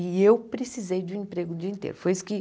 E eu precisei de um emprego o dia inteiro. Foi isso que